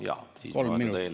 Jaa, kolm minutit veel.